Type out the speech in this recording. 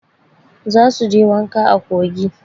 Za su je wanka a kogi.